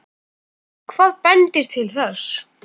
Hvað bendir til þess?